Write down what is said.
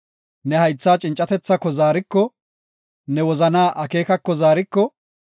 ne haythaa cincatethako zaariko; ne wozanaa akeekako zaariko;